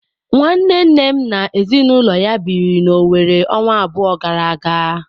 Nwanne nnem na ezinụlọ ya biri na Owere ọnwa abụọ gara aga.